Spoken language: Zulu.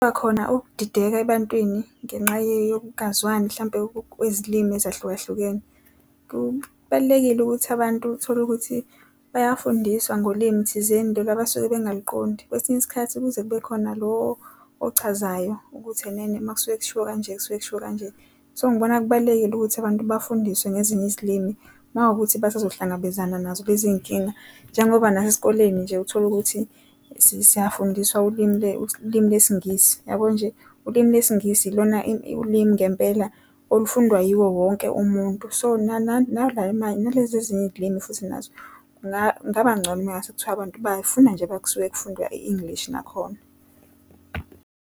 Kubakhona ukudideka ebantwini ngenxa yokungazwani mhlampe kwezilimi ezahluka hlukene. Kubalulekile ukuthi abantu tholukuthi bayafundiswa ngolimi thizeni lolu abasuke bengaliqondi. Kwesinye isikhathi kuze kube khona lo okuchazayo ukuthi enene makusuke kushiwo kanje, kusuke kushiwo kanje. So ngibona kubalulekile ukuthi abantu bafundiswe ngezinye izilimi, makuwukuthi basezohlangabezana nazo lezi nkinga, njengoba nasesikoleni nje utholukuthi siyafundiswa ulimu lwesiNgisi. Yabo nje, ulimi lesiNgisi ilona ulimi ngempela olufundwa yiwo wonke umuntu, so nalezi ezinye izilimi futhi nazo kungaba ngcono mangase kuthiwa abantu bafuna nje mase kufundwa i-English nakhona.